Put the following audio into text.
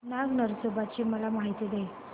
नाग नरसोबा ची मला माहिती दे